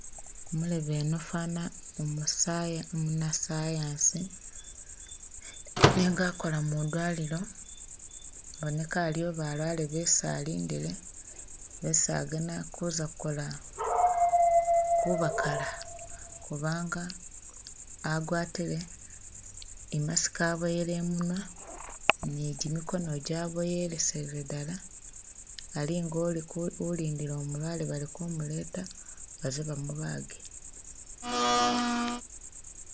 Umulebe uno fana umuna'science nenga akola mudwalilo iboneka aliyo balwale besi alindile besi agana kuza kukola kubakala kubanga agwatile i'mask aboyele imunwa ni gyimikono gi aboyelesele dala alinga ulindile umulwale bali kumuleta baze bamubage.